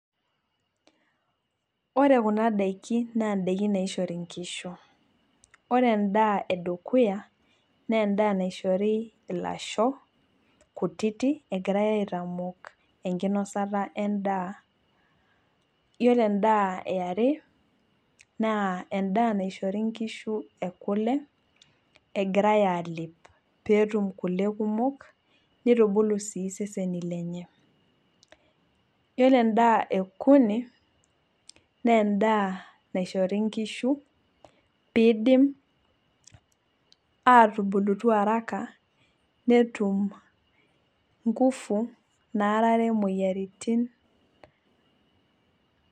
Ore Kuna daikin naa daikin naishori nkishu, ore edaa edukuya naa edaa naishori ilasho kutitik egirae aitamok enkinosata edaa, iyiolo edaa yiere naa edaa naishori nkishu ekule egirae aalep peetum kule kumok nitubulu sii iseseni lenye. Iyiolo edaa ekuni naa edaa naishori nkishu, pee idim aatubulutu araka netum, nkufu naarare moyiaritin.